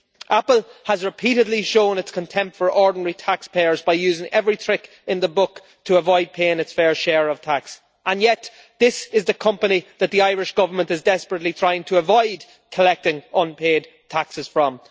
Apple has repeatedly shown its contempt for ordinary taxpayers by using every trick in the book to avoid paying its fair share of tax, and yet this is the company that the Irish Government is desperately trying to avoid collecting unpaid taxes from.